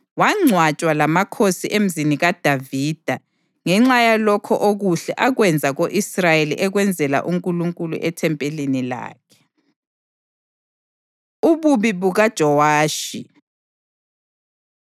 Wangcwatshwa lamakhosi eMzini kaDavida ngenxa yalokho okuhle akwenza ko-Israyeli ekwenzela uNkulunkulu ethempelini lakhe. Ububi BukaJowashi